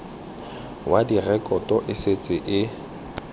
wa direkoto e setse e